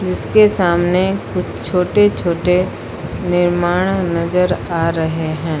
जिसके सामने कुछ छोटे-छोटे निर्माण नजर आ रहे हैं।